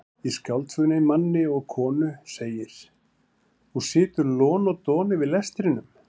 Í skáldsögunni Manni og konu segir: þú situr lon og don yfir lestrinum.